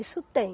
Isso tem.